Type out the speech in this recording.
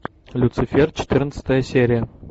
люцифер четырнадцатая серия